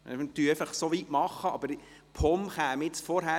Wir machen einfach so weit, aber die POM käme nun vorher;